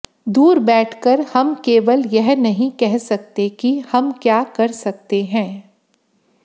दूर बैठकर हम केवल यह नहीं कह सकते कि हम क्या कर सकते हैं